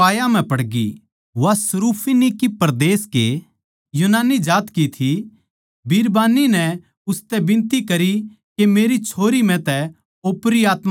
वा यूनानी अर सुरुफिनिकी जात की थी बिरबान्नी नै उसतै बिनती करी के मेरी छोरी म्ह तै ओपरी आत्मा लिकाड़ दे